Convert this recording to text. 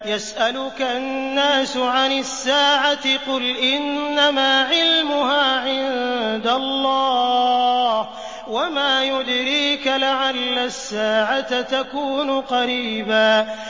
يَسْأَلُكَ النَّاسُ عَنِ السَّاعَةِ ۖ قُلْ إِنَّمَا عِلْمُهَا عِندَ اللَّهِ ۚ وَمَا يُدْرِيكَ لَعَلَّ السَّاعَةَ تَكُونُ قَرِيبًا